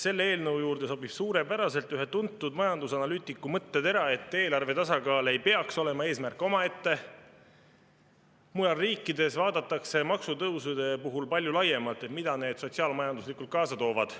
Selle eelnõu juurde sobib suurepäraselt ühe tuntud majandusanalüütiku mõttetera, et eelarve tasakaal ei peaks olema eesmärk omaette, sest mujal riikides vaadatakse maksutõusude puhul palju laiemalt, mida need sotsiaal-majanduslikult kaasa toovad.